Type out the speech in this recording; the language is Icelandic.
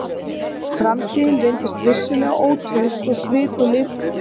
Framtíðin reyndist vissulega ótraust og svikulli miklu en við höfðum gert okkur í hugarlund.